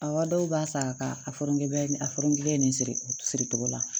Awɔ dɔw b'a san ka a fɔ ngɔbɛ nin a fɔron kelen nin siriki siri cogo la